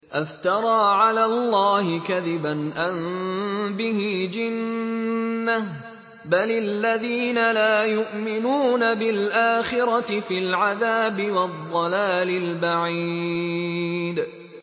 أَفْتَرَىٰ عَلَى اللَّهِ كَذِبًا أَم بِهِ جِنَّةٌ ۗ بَلِ الَّذِينَ لَا يُؤْمِنُونَ بِالْآخِرَةِ فِي الْعَذَابِ وَالضَّلَالِ الْبَعِيدِ